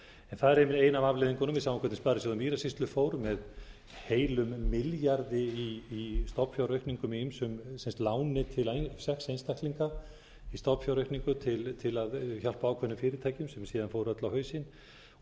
það er ein af afleiðingunum við sjáum hvernig sparisjóður mýrasýslu fór með heilum milljarði í stofnfjáraukningu með ýmsum láni til einstaklinga í stofnfjáraukningu til að hjálpa ákveðnum fyrirtækjum sem síðan fóru öll á hausinn